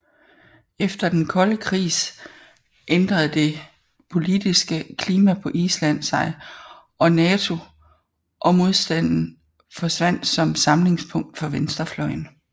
Efter den kolde krigs ændrede det politiske klima på Island sig og NATO modstanden forsvandt som samlingspunkt for venstrefløjen